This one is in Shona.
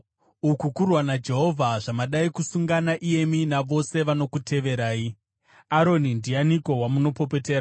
Uku kurwa naJehovha zvamadai kusungana pamwe chete iyemi navose vanokuteverai. Aroni ndianiko wamunopopotera?”